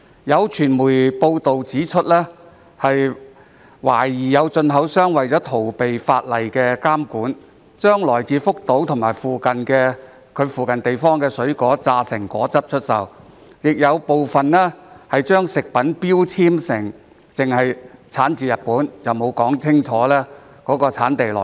有傳媒報道指出，懷疑有進口商為了逃避法例監管，將來自福島及其附近地方的水果榨成果汁出售，亦有部分進口商在食品標籤只註明產自日本，沒有說清楚產地來源。